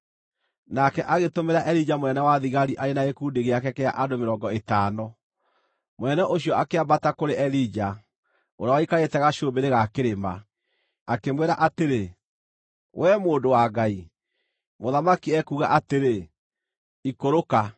Nake agĩtũmĩra Elija mũnene wa thigari arĩ na gĩkundi gĩake kĩa andũ mĩrongo ĩtano; mũnene ũcio akĩambata kũrĩ Elija, ũrĩa waikarĩte gacũmbĩrĩ ga kĩrĩma, akĩmwĩra atĩrĩ, “Wee mũndũ wa Ngai, mũthamaki ekuuga atĩrĩ, ‘Ikũrũka!’ ”